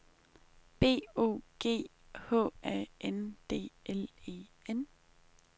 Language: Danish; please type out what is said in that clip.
B O G H A N D L E N